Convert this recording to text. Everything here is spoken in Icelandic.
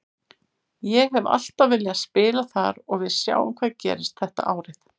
Ég hef alltaf viljað spila þar og við sjáum hvað gerist þetta árið.